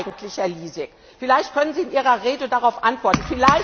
Warum eigentlich, Herr Lisek? Vielleicht können Sie in Ihrer Rede darauf antworten.